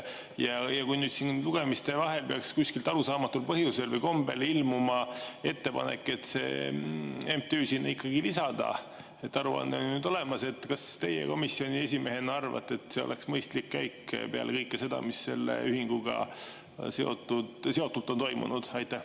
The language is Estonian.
Kui nüüd siin lugemiste vahel peaks kuskilt arusaamatul põhjusel või kombel ilmuma ettepanek see MTÜ sinna ikkagi lisada, sest aruanne on nüüd olemas, siis kas teie komisjoni esimehena arvate, et see oleks mõistlik käik peale kõike seda, mis selle ühinguga seotult on toimunud?